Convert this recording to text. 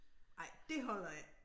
Ej det holder ikke